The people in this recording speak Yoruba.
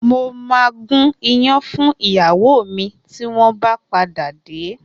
Mo ma gún iyán fún ìyàwó mi tí wọ́n bá padà dé